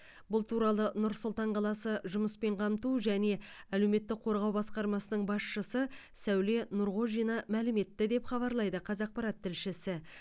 бұл туралы нұр сұлтан қаласы жұмыспен қамту және әлеуметтік қорғау басқармасының басшысы сәуле нұрғожина мәлім етті деп хабарлайды қазақпарат тілшісі